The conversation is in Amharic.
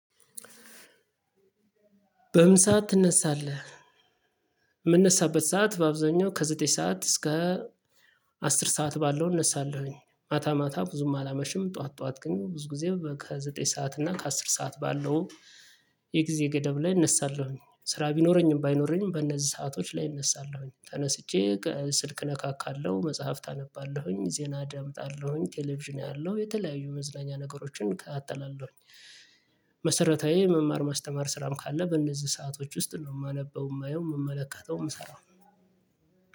በምን ሰዓት ትነሳለህ? የምነሳበት ሰዓት በአብዛኛው ከዘጠኝ ሰዓት እስከ አስር ሰዓት ባለው እነሳለሁኝ። ማታ ማታ ብዙም አላመሽም ጠዋት ጠዋት ግን ብዙ ጊዜ ከዘጠኝ ሰዓት እና ከአስር ሰዓት ባለው። የጊዜ ገደብ ላይ እነሳለሁኝ ስራ ቢኖረኝም ባይኖረኝም በእነዚህ ሰአቶች ላይ እነሳለሁኝ። ተነስቼ ስልክ እነካካለሁ መጽሐፍ አነባለሁኝ ዜና አደምጣለሁኝ ቴሌቪዥን አያለው የተለያዩ መዝናኛ ነገሮችን አከታተላለውኝ። መሰረታዊ መማር ማስተማር ስራም ካለ በእነዚህ ሰአቶች ውስጥ ነው የማነበው የማየው የምመለከተው የምሰራው።